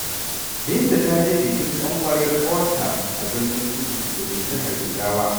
Binta ta je bikin ƙanwar ƙawarta a Birnin Kudu da ke jihar Jigawa.